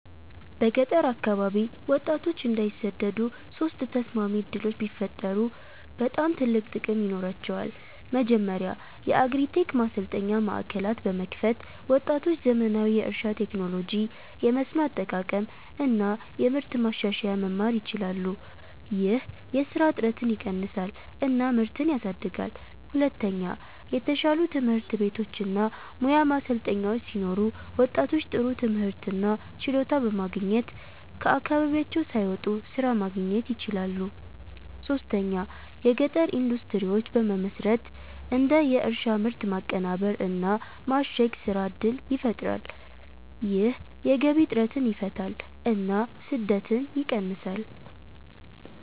በገጠር አካባቢ ወጣቶች እንዳይሰደዱ ሶስት ተስማሚ ዕድሎች ቢፈጠሩ በጣም ትልቅ ጥቅም ይኖራቸዋል። መጀመሪያ የአግሪ-ቴክ ማሰልጠኛ ማዕከላት በመክፈት ወጣቶች ዘመናዊ የእርሻ ቴክኖሎጂ፣ የመስኖ አጠቃቀም እና የምርት ማሻሻያ መማር ይችላሉ። ይህ የስራ እጥረትን ይቀንሳል እና ምርትን ያሳድጋል። ሁለተኛ የተሻሉ ትምህርት ቤቶች እና ሙያ ማሰልጠኛዎች ሲኖሩ ወጣቶች ጥሩ ትምህርት እና ችሎታ በማግኘት ከአካባቢያቸው ሳይወጡ ስራ ማግኘት ይችላሉ። ሶስተኛ የገጠር ኢንዱስትሪዎች በመመስረት እንደ የእርሻ ምርት ማቀናበር እና ማሸግ ስራ እድል ይፈጠራል። ይህ የገቢ እጥረትን ይፈታል እና ስደትን ይቀንሳል።